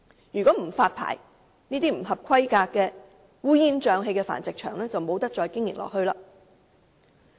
如果這些不合乎規格、烏煙瘴氣的繁殖場不獲發牌，便無法繼續經營。